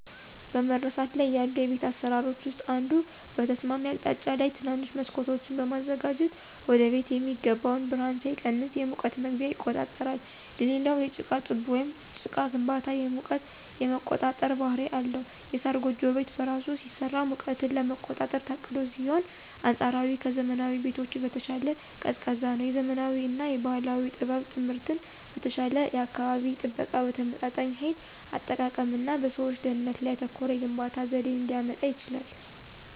በመረሳት ላይ ያሉ የቤት አሰራሮች ውስጥ አንዱ በተስማሚ አቅጣጫ ላይ ትናንሽ መስኮቶችን በማዘጋጀት ወደቤት የሚገባው ብርሃን ሳይቀንስ የሙቀት መግቢያ ይቆጣጠራል። ሌላው የጭቃ ጡብ ወይም ጭቃ ግንባታ የሙቀት የመቆጣጠር ባህሪ አለው። የሳር ጎጆ ቤት በራሱ ሲሰራ ሙቀትን ለመቆጣጠር ታቅዶ ሲሆን አንፃራዊ ከዘመናዊ ቤቶች በተሻለ ቀዝቃዛ ነው። የዘመናዊ እና የባህል ጥበብ ጥምረት በተሻለ የአካባቢ ጥበቃ፣ በተመጣጣኝ ኃይል አጠቃቀም እና በሰዎች ደህንነት ላይ ያተኮረ የግንባታ ዘዴን ሊያመጣ ይችላል።